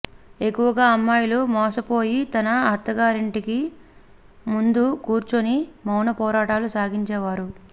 ఎక్కువగా అమ్మాయిలు మోసపోయి తన అత్తగాంరింటి ముందు కూర్చొని మౌన పోరాటాలు సాగించేవారు